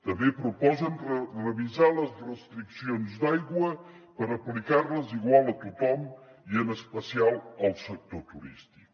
també proposen revisar les restriccions d’aigua per aplicar les igual a tothom i en especial al sector turístic